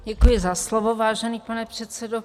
Děkuji za slovo, vážený pane předsedo.